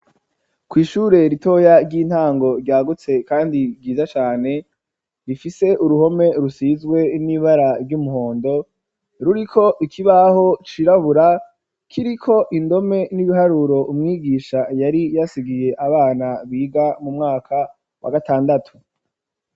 Kw'ishure ritoya ry'intango ryagutse kandi ryiza cane, rifise uruhome rusizwe n'ibara ry'umuhondo, ruriko ikibaho cirabura kiriko indome n'ibiharuro, umwigisha yari yasigiye abana biga mu mwaka wa gatandatu.